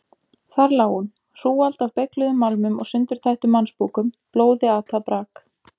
Þar lá hún: hrúgald af beygluðum málmum og sundurtættum mannsbúkum, blóði atað brak.